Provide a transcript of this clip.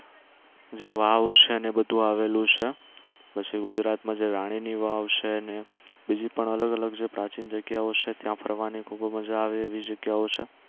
જે વાવ છે અને એ બધુ આવેલું છે પછી ગુજરાત માં જે રાણી ની વાવ છે ને બીજી પણ અલગ અલગ જે પ્રાચીન જગ્યાઓ છે ત્યાં ફરવાની ખૂબ મજા આવે એવી જગ્યાઓ છે